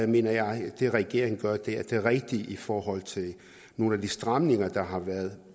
mener jeg at det regeringen gør er det rigtige i forhold til nogle af de stramninger der har været